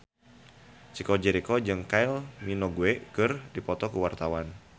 Chico Jericho jeung Kylie Minogue keur dipoto ku wartawan